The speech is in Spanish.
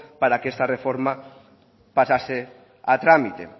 para que esta reforma pasase a trámite